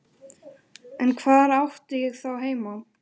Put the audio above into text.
En hvar átti ég þá heima?